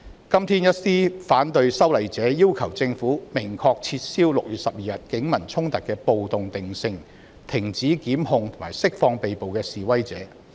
今天，一些反對修例者要求政府明確撤銷6月12日警民衝突的"暴動"定性，以及停止檢控並釋放被捕示威者。